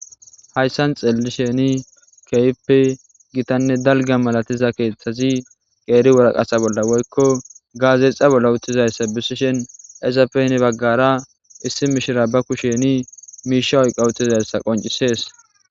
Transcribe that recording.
Hayssan xeellisheni keyppe gitanne dalga malatiza keeththazi qeeri wuraqasa bolla woykko gaazexa bolla utizayssa bisishen ezapeni baggara issi mishira bakusheni miisha oyqautizayssa qoncisees.